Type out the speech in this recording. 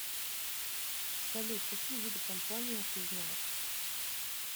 салют какие виды компания ты знаешь